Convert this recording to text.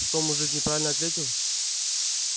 что мужик неправильно ответил